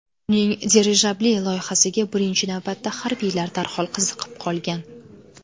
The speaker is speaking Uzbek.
Uning dirijabli loyihasiga birinchi navbatda harbiylar darhol qiziqib qolgan.